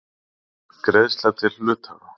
Greiðsla til hluthafa.